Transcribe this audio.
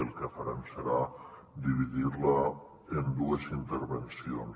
el que farem serà dividir la en dues intervencions